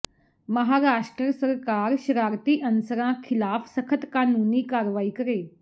ਮਹਾਰਾਸ਼ਟਰ ਸਰਕਾਰ ਸ਼ਰਾਰਤੀ ਅਨਸਰਾਂ ਖਿਲਾਫ਼ ਸਖ਼ਤ ਕਾਨੂੰਨੀ ਕਾਰਵਾਈ ਕਰੇ